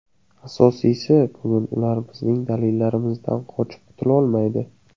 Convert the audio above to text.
Asosiysi, bugun ular bizning dalillarimizdan qochib qutulolmaydi.